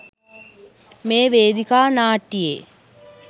මේ වේදිකා නාට්‍යයේ